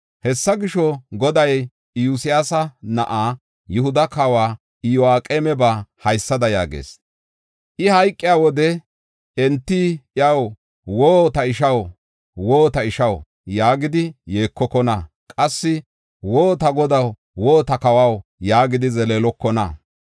Hessa gisho, Goday Iyosyaasa na7aa, Yihuda kawa Iyo7aqeemaba haysada yaagees: “I hayqiya wode enti iyaw, ‘Woo! Ta ishaw, woo! Ta ishaw’ yaagidi yeekokona. Qassi, ‘Woo! Ta godaw, woo! Ta kawaw’ yaagidi zeleelokona.